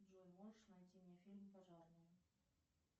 джой можешь найти мне фильм пожарные